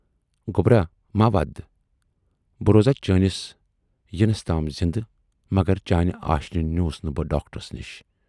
گوبرا مٔہ وَد! بہٕ روزٕہا چٲنِس یِنس تام زِندٕ مگر چانہِ آشینہِ نیوٗس نہٕ بہٕ ڈاکٹرس نِش۔